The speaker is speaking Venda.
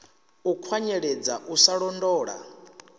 u kwanyeledza u sa londola